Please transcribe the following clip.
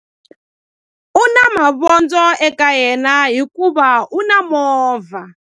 U na mavondzo eka yena hikuva u na movha.